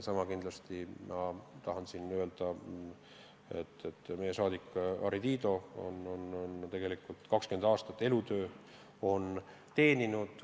Sama kindlalt tahan öelda, et meie saadik Harri Tiido on tegelikult 20 aastat Välisministeeriumi teeninud.